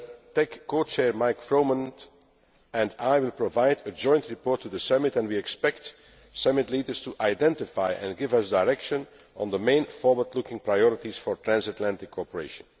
US TEC co Chair Michael Froman and I will provide a joint report to the Summit and we expect Summit leaders to identify, and give us direction on, the main forward looking priorities for transatlantic cooperation.